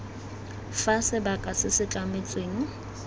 fa sebaka se se tlametsweng